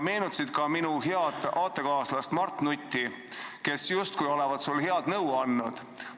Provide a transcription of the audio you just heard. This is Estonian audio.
Meenutasid ka minu head aatekaaslast Mart Nutti, kes justkui olevat sulle head nõu andnud.